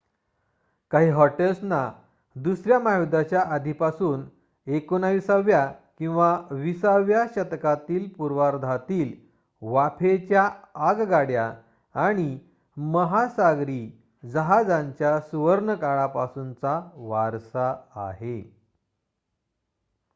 काही हॉटेल्सना दुसऱ्या महायुद्धाच्या आधीपासून 19 व्या किंवा 20 व्या शतकातील पूर्वार्धातील वाफेच्या आगगाड्या आणि महासागरी जहाजेयांच्या सुवर्णकाळापासूनचा वारसा आहे